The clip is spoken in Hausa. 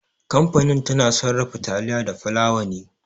Kamfani tana sarrafa taliya da fulawa ne.